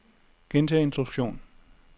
gentag instruktion